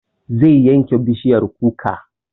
Zai yanke bishiyar kuka